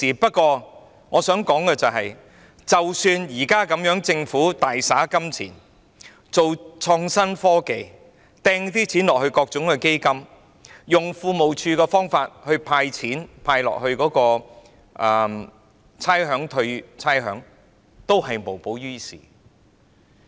不過，我想指出，即使政府現在大灑金錢，推行創新科技，撥款予各項基金，透過庫務署"派錢"，撥款由差餉物業估價署退還差餉，這樣也無補於事。